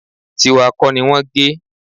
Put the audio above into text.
Tíwa kọ́ ni wọ́n gé